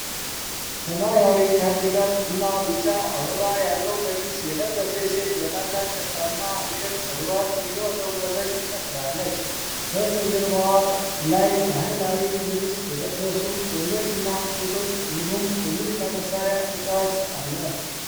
ሰማያዊ ካርዲጋን እና ቢጫ አበባ ያለው ቀሚስ የለበሰች ሴት በታላቅ ደስታና ፍቅር ፀጉሯን እየወዘወዘች ትጨፍራለች። ከበስተጀርባዋ ላይ በባህላዊ ልብስ የለበሱ ወንዶችና ሴቶች እንዲሁም የሙዚቃ መሳሪያ ተጫዋች አለ።